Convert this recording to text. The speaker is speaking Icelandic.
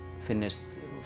finnist